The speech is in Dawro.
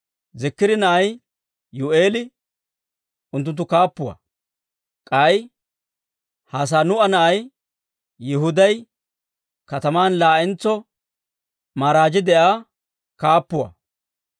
Ziikira na'ay Yuu'eeli unttunttu kaappuwaa; k'ay Hassanuu'a na'ay Yihuday kataman laa'entso maaragii de'iyaa kaappuwaa.